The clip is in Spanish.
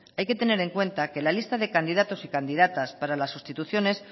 hay que tener en cuenta que la lista de candidatos y candidatas para las sustituciones